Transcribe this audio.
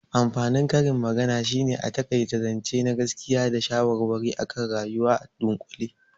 Amfanin karin magana shine a taƙaita zance na gaskiya da shawarwari akan rayuwa a dunƙule